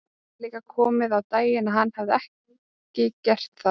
Nú var líka komið á daginn að hann hafði ekki gert það.